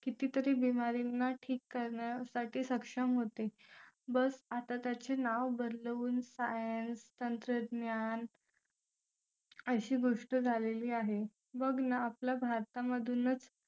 कितीतरी बिमारींना ठीक करण्यासाठी सक्षम होते बस आता त्याचे नाव बदलवून science तंत्रज्ञान अशी गोष्ट झालेली आहे बघ ना आपल्या भारतामधूनच